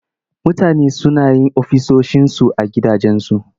Mutane suna yin ofisoshinsu a gidajensu.